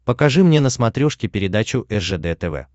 покажи мне на смотрешке передачу ржд тв